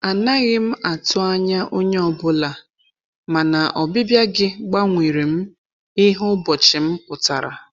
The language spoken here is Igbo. Anaghị m atụ anya onye ọ bụla, mana ọbịbịa gị gbanwerem ihe ụbọchị m pụtara.